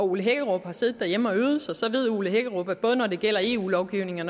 ole hækkerup har siddet derhjemme og øvet sig så ved herre ole hækkerup at både når det gælder eu lovgivning og